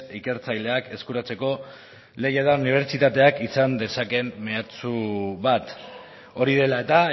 ikertzaileak eskuratzeko unibertsitateak izan dezakeen meatsu bat hori dela eta